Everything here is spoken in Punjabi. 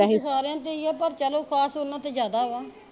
ਸਾਰਿਆਂ ਦੇ ਈ ਆ ਪਰ ਚਲੋ ਖਾਸ ਓਹਨਾ ਤੇ ਜਿਆਦਾ ਵਾ